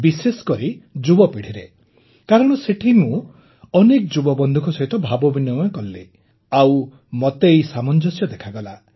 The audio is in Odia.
ବିଶେଷକରି ଯୁବ ପିଢ଼ିରେ କାରଣ ସେଠି ମୁଁ ଅନେକ ଯୁବବନ୍ଧୁଙ୍କ ସହିତ ଭାବବିନିମୟ କଲି ଆଉ ମୋତେ ଏହି ସାମଞ୍ଜସ୍ୟ ଦେଖାଗଲା